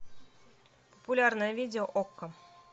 популярное видео окко